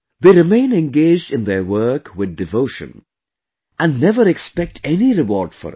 They remained engaged in their work with devotion and never expected any reward for it